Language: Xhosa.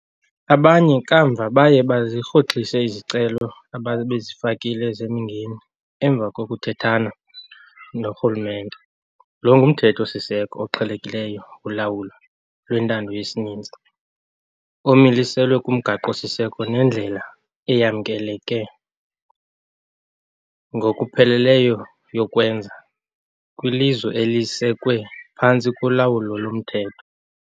Abanye kamva baye bazirhoxisa izicelo ababezifakile zemingeni emva kokuthethana norhulumente. Lo ngumthetho-siseko oqhelekileyo wolawulo lwentando yesininzi omiliselwe kumgaqo-siseko nendlela eyamkeleke ngokupheleleyo yokwenza kwilizwe elisekwe phantsi kolawulo lomthetho.